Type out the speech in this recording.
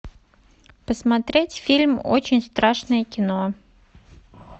посмотреть фильм очень страшное кино